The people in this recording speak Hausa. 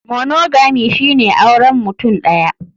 Monogamy shine auren mutum ɗaya.